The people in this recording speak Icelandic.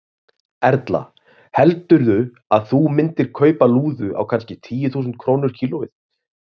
Erla: Heldurðu að þú myndir kaupa lúðu á kannski tíu þúsund krónur kílóið?